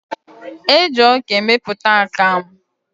Eji ọka emepụta akamụ.